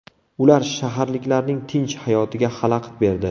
Ular shaharliklarning tinch hayotiga xalaqit berdi.